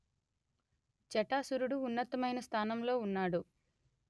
జటాసురుడు ఉన్నతమైన స్థానంలో ఉన్నాడు